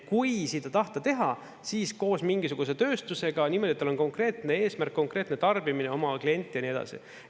Kui seda tahta teha, siis koos mingisuguse tööstusega, niimoodi, et tal on konkreetne eesmärk, konkreetne tarbimine, oma klient ja nii edasi.